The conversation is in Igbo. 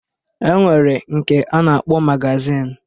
E nwere nke a na-akpọ magazin.